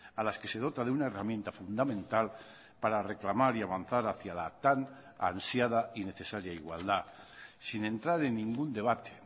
a las que se dota de una herramienta fundamental para reclamar y avanzar hacia la tan ansiada y necesaria igualdad sin entrar en ningún debate